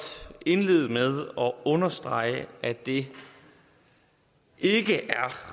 indlede med at understrege at det ikke er